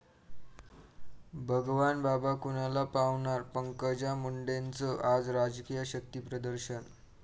भगवानबाबा कुणाला पावणार? पंकजा मुंडेंचं आज राजकीय शक्तिप्रदर्शन